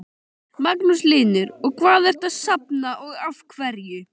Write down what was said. Magnús Hlynur: Og hvað ertu að safna og af hverju?